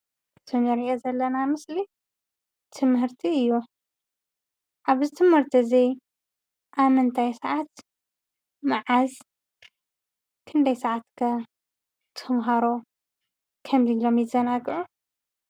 እቲ እንሪኦ ዘለና ምስሊ ትምህርቲ እዩ። ኣብዚ ትምህርቲ እዚ ኣብ ምንታይ ስዓት፣ መዓዝ፣ ክንደይ ስዓት ከ ተምሃሮ ከምዚ ኢሎም ይዘናግዑ?